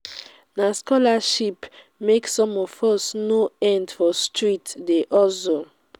na scholarship make some of us no end for street dey hustle.